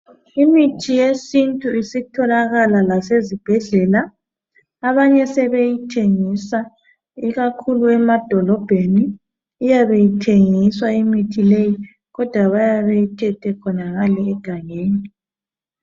Imithi yesintu isitholakala la sezibhedlela abanye sebeyithengisa ikakhulu emadolobheni iyabe ithengiswa imithi leyi kodwa bayabe beyithethe khonangale egangeni.